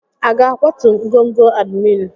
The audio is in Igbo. A ga-akwatu ngọngọ admin.